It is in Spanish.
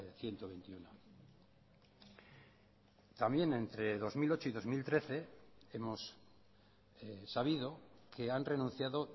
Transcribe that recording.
ciento veintiuno también entre dos mil ocho y dos mil trece hemos sabido que han renunciado